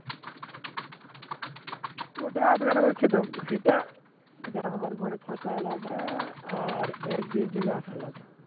ওটা আধখানা করে খেতে সেটা যা আমার ঘরে থাকা আলাদা আর একদিনের জন্য আসা লাগবে